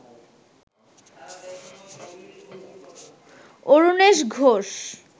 Arunesh Ghosh